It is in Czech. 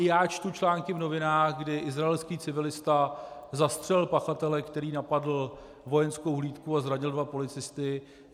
I já čtu články v novinách, kdy izraelský civilista zastřelil pachatele, který napadl vojenskou hlídku a zranil dva policisty.